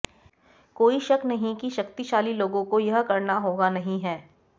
कोई शक नहीं कि शक्तिशाली लोगों को यह करना होगा नहीं है